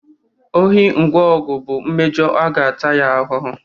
Ohi ngwa ọgụ bụ mmejọ a ga-ata ya ahụhụ